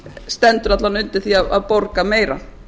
stendur alla vega undir því að borga meira